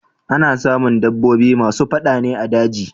Ana samun dabbobi masu fada ne a daji.